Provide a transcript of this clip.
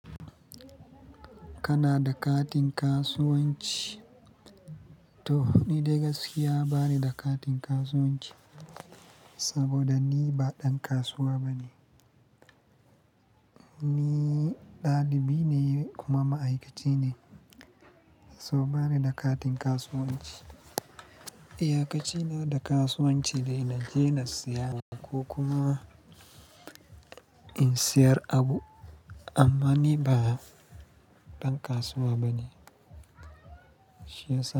Kana da katin kasuwanci? To, ni dai gaskiya bani da katin kasuwanci saboda ni ba ɗan kasuwa ba ne. Ni ɗalibi ne kuma ma'aikaci ne, so bani da katin kasuwanci. Iyakaci na da kasuwanci dai na je na siya ko kuma in siyar abu, amma ni ba ɗan kasuwa ba ne. Shi yasa.